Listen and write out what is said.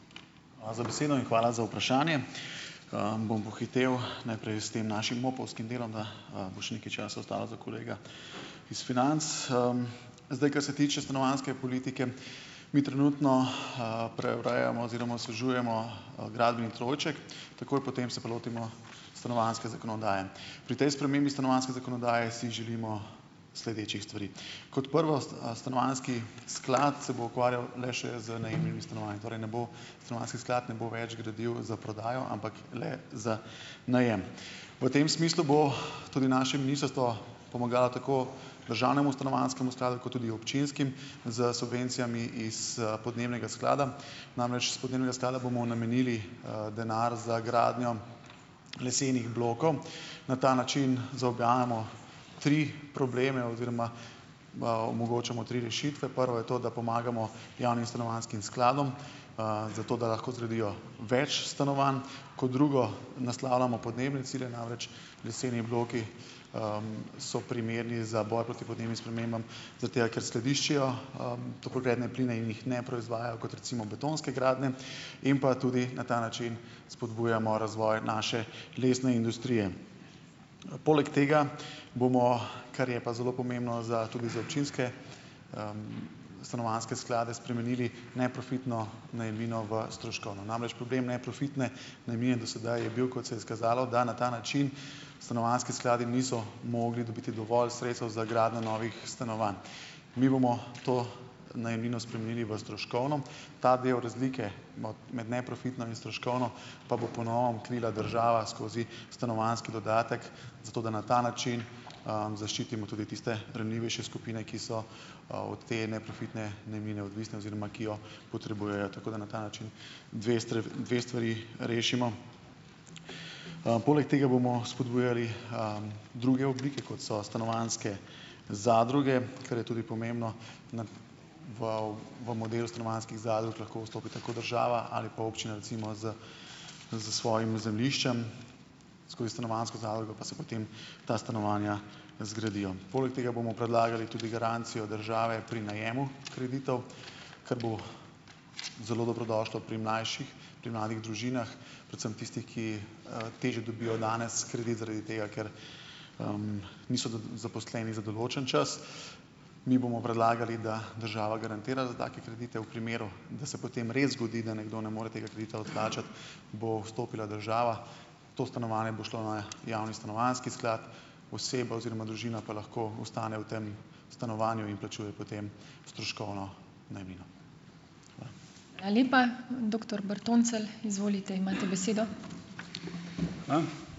Hvala za besedo in hvala za vprašanje. Bom pohitel najprej s tem našim MOP-ovskim delom da, bo še nekaj časa ostalo za kolega iz financ. Zdaj, kar se tiče stanovanjske politike, mi trenutno, preurejamo oziroma osvežujemo gradbeni trojček, takoj potem se pa lotimo stanovanjske zakonodaje. Pri tej spremembi stanovanjske zakonodaje si želimo sledečih stvari. Kot prvo, stanovanjski sklad se bo ukvarjal le še z najemnimi stanovanji, torej ne bo stanovanjski sklad ne bo več gradil za prodajo, ampak le za najem. V tem smislu bo tudi naše ministrstvo pomagalo tako državnemu stanovanjskemu skladu kot tudi občinskim s subvencijami iz, podnebnega sklada. Namreč, s podnebnega sklada bomo namenili, denar za gradnjo lesenih blokov, na ta način zaobjamemo tri probleme oziroma, omogočamo tri rešitve. Prvo je to, da pomagamo javnim stanovanjskim skladom, zato, da lahko zgradijo več stanovanj. Kot drugo, naslavljamo podnebne cilje. Namreč leseni bloki, so primerni za boj proti podnebnim spremembah, zaradi tega, ker skladiščijo, toplogredne pline in jih ne proizvajajo, kot recimo betonske gradnje, in pa tudi na ta način spodbujamo razvoj naše lesne industrije. Poleg tega bomo, kar je pa zelo pomembno za tudi za občinske, stanovanjske sklade, spremenili neprofitno najemnino v stroškovno. Namreč problem neprofitne najemnine do sedaj je bil, kot se je izkazalo, da na ta način stanovanjski skladi niso mogli dobiti dovolj sredstev za gradnjo novih stanovanj. Mi bomo to najemnino spremenili v stroškovno, ta del razlike med neprofitno in stroškovno pa bo po novem krila država skozi stanovanjski dodatek, zato da na ta način, zaščitimo tudi tiste ranljivejše skupine, ki so, od te neprofitne najemnine odvisne oziroma ki jo potrebujejo, tako da na ta način dve dve stvari rešimo. Poleg tega bomo spodbujali, druge oblike, kot so stanovanjske zadruge, kar je tudi pomembno na v v modelu stanovanjskih zadrug lahko vstopite kot država ali pa občine recimo s s svojim zemljiščem, skozi stanovanjsko zadrugo pa se potem ta stanovanja zgradijo. Poleg tega bomo predlagali tudi garancijo države pri najemu kreditov, kar bo zelo dobrodošlo pri mlajših, pri mladih družinah, predvsem tistih, ki, težje dobijo danes kredit zaradi tega, ker, niso zaposleni za določen čas. Mi bomo predlagali, da država garantira za take kredite. V primeru, da se potem res zgodi, da nekdo ne more tega kredita odplačati, bo vstopila država, to stanovanje bo šlo na javni stanovanjski sklad, oseba oziroma družina pa lahko ostane v tem stanovanju in plačuje potem stroškovno najemnino.